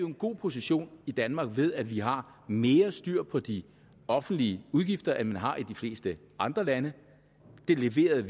en god position i danmark ved at vi har mere styr på de offentlige udgifter end man har i de fleste andre lande vi leverede